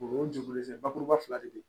O ye jogolen tɛ bakuruba fila de ye